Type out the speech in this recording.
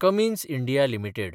Cummins India limited